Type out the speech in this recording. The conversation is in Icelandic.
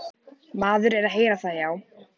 Maður er að heyra það, já.